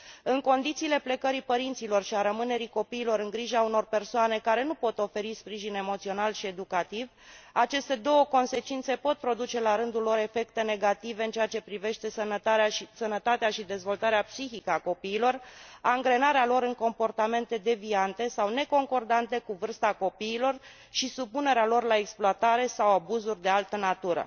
În condițiile plecării părinților și a rămânerii copiilor în grija unor persoane care nu pot oferi sprijin emoțional și educativ, aceste două consecințe pot produce la rândul lor efecte negative în ceea ce privește sănătatea și dezvoltarea psihică a copiilor, angrenarea lor în comportamente deviante sau neconcordante cu vârsta copiilor și supunerea lor la exploatare sau abuzuri de altă natură.